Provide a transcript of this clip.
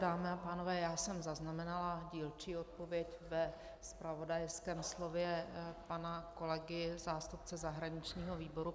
Dámy a pánové, já jsem zaznamenala dílčí odpověď ve zpravodajském slově pana kolegy, zástupce zahraničního výboru.